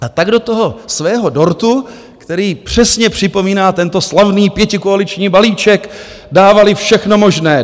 A tak do toho svého dortu, který přesně připomíná tento slavný pětikoaliční balíček, dávali všechno možné.